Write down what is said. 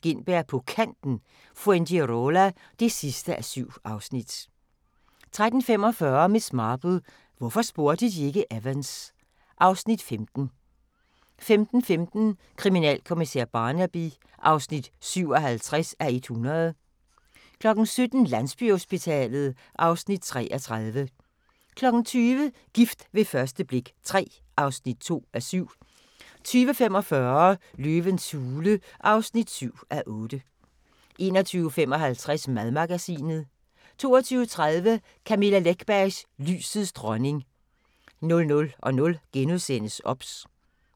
Gintberg på Kanten – Fuengirola (7:7)* 13:45: Miss Marple: Hvorfor spurgte de ikke Evans? (Afs. 15) 15:15: Kriminalkommissær Barnaby (57:100) 17:00: Landsbyhospitalet (Afs. 33) 20:00: Gift ved første blik III (2:7) 20:45: Løvens hule (7:8) 21:55: Madmagasinet 22:30: Camilla Läckbergs Lysets dronning 00:00: OBS *